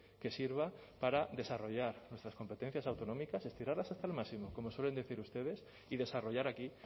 que sirva para desarrollar nuestras competencias autonómicas estirarlas hasta el máximo como suelen decir ustedes y desarrollar aquí